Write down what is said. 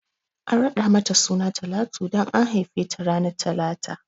An raɗa mata suna Talatu dan an haife ta ranar talata ne